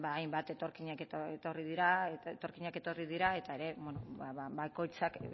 hainbat etorkinak etorri dira eta bakoitzak